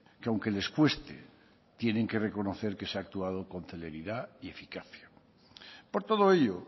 que aunque les cueste tienen que reconocer que se ha actuado con celeridad y eficacia por todo ello